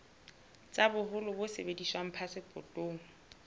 tsa boholo bo sebediswang phasepotong